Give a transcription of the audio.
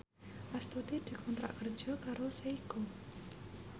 Astuti dikontrak kerja karo Seiko